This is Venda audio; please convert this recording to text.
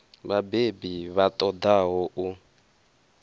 vhabebi vha ṱo ḓaho u